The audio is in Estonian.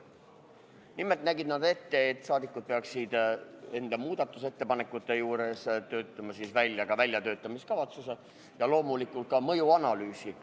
Nimelt nägid nad ette, et rahvasaadikud peaksid enda muudatusettepanekute kohta töötama välja ka väljatöötamiskavatsuse ja loomulikult mõjuanalüüsi.